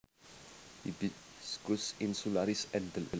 Hibiscus insularis Endl